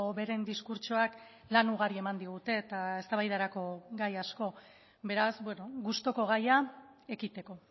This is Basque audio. beren diskurtsoak lan ugari eman digute eta eztabaidarako gai asko beraz gustuko gaia ekiteko